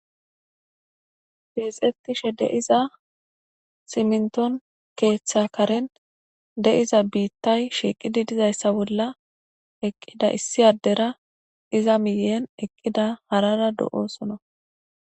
Keexettishe de'iza siminton keeththakaren deiza biittay shiiqidi dizayssa bolla eqqida issi addera iza miyen eqqida harara do7oosono